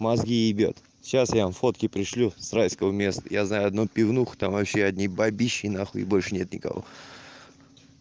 мозги ебёт сейчас я вам фотки пришлю с райского места я знаю одну пивнуху там вообще одни бабищи нахуй и больше нет никого